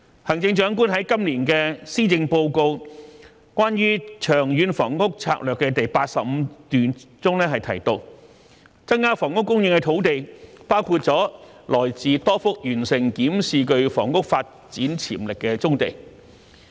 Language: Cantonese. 行政長官在今年的施政報告中關於長遠房屋策略的第85段中提到，增加房屋供應的土地包括了來自多幅完成檢視具房屋發展潛力的棕地。